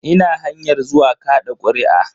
Ina hanyar zuwa kaɗa kuri'a.